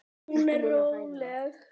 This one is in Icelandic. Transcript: Hún er róleg.